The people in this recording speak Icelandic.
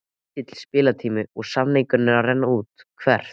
Lítill spilatími og samningur að renna út Hvert?